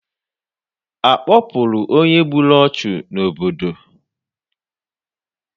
Akpọpụrụ onye gburu ọchụ n'obodo?